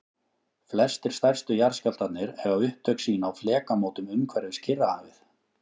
flestir stærstu jarðskjálftarnir eiga upptök sín á flekamótum umhverfis kyrrahafið